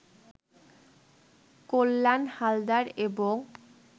কল্যাণ হালদার এবং